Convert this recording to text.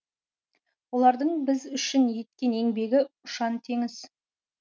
олардың біз үшін еткен еңбегі ұшан теңіз